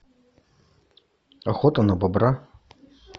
охота на бобра